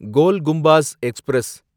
கோல் Gumbaz express